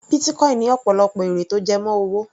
Bitcoin ní ọ̀pọ̀lọpọ̀ èrè tó jẹ mọ́ owó.